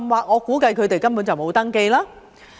我估計他們甚或根本沒有登記。